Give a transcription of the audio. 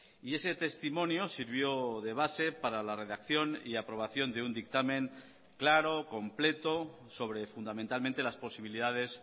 y ese testimonio sirvió de base para la redacción y aprobación de un dictamen claro completo sobre fundamentalmente las posibilidades